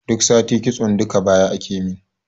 Duk sati kitso duka baya akemin